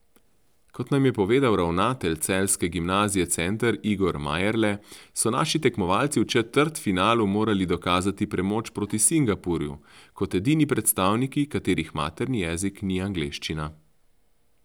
Kot nam je povedal ravnatelj celjske gimnazije Center Igor Majerle, so naši tekmovalci v četrtfinalu morali dokazati premoč proti Singapurju kot edini predstavniki, katerih materni jezik ni angleščina.